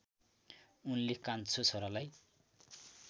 उनले कान्छो छोरालाई